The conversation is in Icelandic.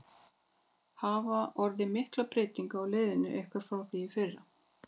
Hafa orðið miklar breytingar á liðinu ykkar frá því í fyrra?